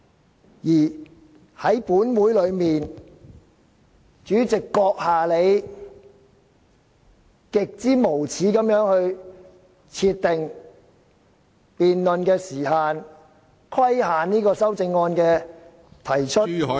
另一方面，本會的主席閣下你極之無耻地設定辯論時限，規限修正案的提出......